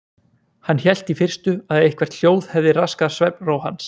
Hann hélt í fyrstu að eitthvert hljóð hefði raskað svefnró hans.